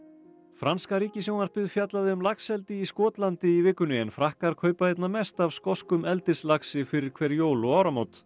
franska ríkissjónvarpið fjallaði um laxeldi í Skotlandi í vikunni en Frakkar kaupa einna mest af skoskum eldislaxi fyrir hver jól og áramót